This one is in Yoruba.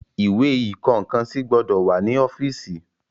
Ìwé ìkọ nǹkan sí gbọ́dọ̀ wà ní ọ́fíìsì.